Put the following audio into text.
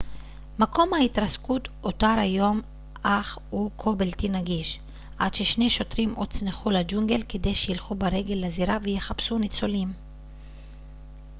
מקום ההתרסקות אותר היום אך הוא כה בלתי נגיש עד ששני שוטרים הוצנחו לג'ונגל כדי שילכו ברגל לזירה ויחפשו ניצולים